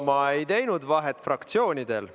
Ma ei teinud vahet fraktsioonidel.